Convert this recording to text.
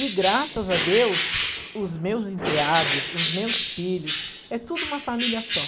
E, graças a Deus, os meus enteados, os meus filhos, é tudo uma família só.